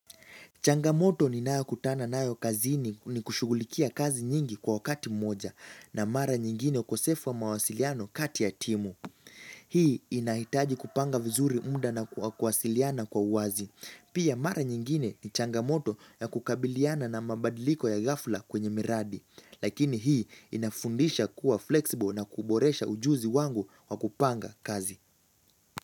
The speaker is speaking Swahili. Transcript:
Changamoto ninayo kutana nayo kazini ni kushugulikia kazi nyingi kwa wakati mmoja na mara nyingine ukosefu wa mawasiliano kati ya timu. Hii inahitaji kupanga vizuri mda na kuwasiliana kwa uwazi. Pia mara nyingine ni changamoto ya kukabiliana na mabadiliko ya ghafla kwenye miradi. Lakini hii inafundisha kuwa flexible na kuboresha ujuzi wangu kwa kupanga kazi.